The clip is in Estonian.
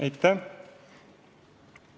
Aitäh!